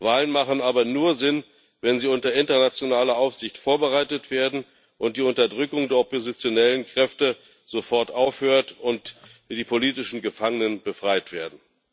Wahlen ergeben aber nur Sinn, wenn sie unter internationaler Aufsicht vorbereitet werden, die Unterdrückung der oppositionellen Kräfte sofort aufhört und die politischen Gefangenen befreit werden.